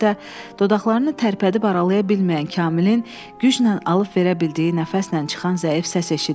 dodaqlarını tərpədib aralaya bilməyən Kamilin güclə alıb verə bildiyi nəfəslə çıxan zəif səs eşidildi.